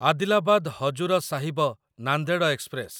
Adilabad Hazur Sahib Nanded express